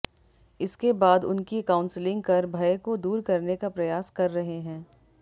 इसके बाद उनकी काउंसलिंग कर भय को दूर करने का प्रयास कर रहे हैं